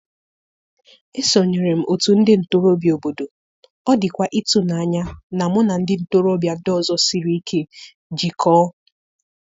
Esonyere m òtù ndị ntorobịa obodo, ọ dịkwa ịtụnanya na mụ na ndị ntorobịa ndị ọzọ siri ike jikọọ.